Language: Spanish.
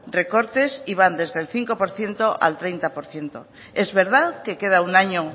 recortes y van desde el cinco por ciento al treinta por ciento es verdad que queda un año